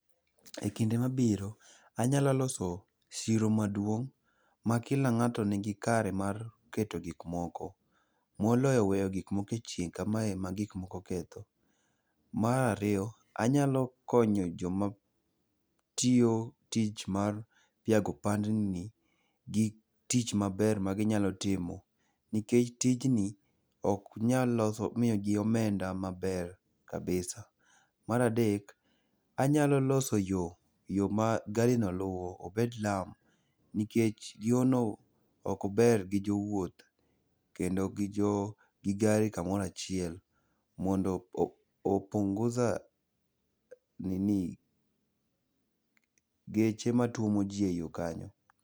E kinde mabiro, anyalo loso chiro maduong' ma kila ng'ato nigi kare mar keto gik moko. Moloyo weyo gik moko e chieng' kamae ma gik moko ketho. Mar ariyo, anyalo konyo joma tiyo tich mar piago pandni gi tich maber ma ginyalo timo nikech tijni oknyal loso, miyo gi omenda maber kabisa. Mar adek, anyalo loso yo, yo ma gari no luwo, obed lam. Nikech yo no okber gi jowuoth kendo gi gari kamoro achiel. Mondo o punguza nini geche matuomo ji e yo kanyo.